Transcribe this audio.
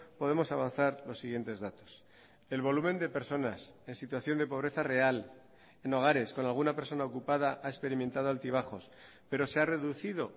podemos avanzar los siguientes datos el volumen de personas en situación de pobreza real en hogares con alguna persona ocupada ha experimentado altibajos pero se ha reducido